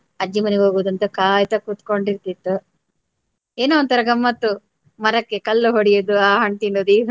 ಅಜ್ಜಿ ಮನೆಗೆ ಹೋಗುದಂತ ಕಾಯುತ ಕುತ್ಕೊಂಡಿರ್ತಿತ್ತು. ಏನೋ ಒಂಥರ ಗಮ್ಮತ್ತು ಮರಕ್ಕೆ ಕಲ್ಲು ಹೊಡೆಯುವುದು ಆ ಹಣ್ ತಿನ್ನುವುದು ಈ ಹಣ್